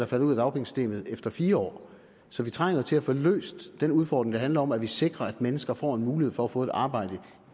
falder ud af dagpengesystemet efter fire år så vi trænger til at få løst den udfordring der handler om at vi sikrer at mennesker får en mulighed for at få et arbejde